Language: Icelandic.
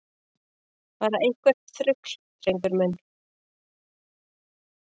Bara eitthvert þrugl, drengur minn.